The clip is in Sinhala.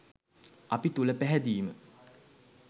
අපි තුළ පැහැදීම